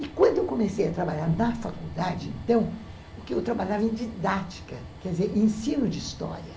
E quando eu comecei a trabalhar na faculdade, então, o que eu trabalhava em didática, quer dizer, ensino de história.